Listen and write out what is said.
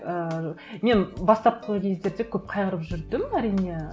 ііі мен бастапқы кездерде көп қайғырып жүрдім әрине